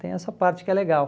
Tem essa parte que é legal.